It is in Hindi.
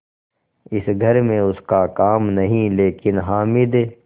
इस घर में उसका काम नहीं लेकिन हामिद